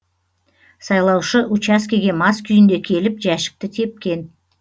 сайлаушы учаскеге мас күйінде келіп жәшікті тепкен